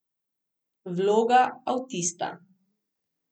Vloga avtista.